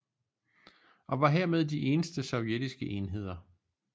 Og var hermed de eneste sovjetiske enheder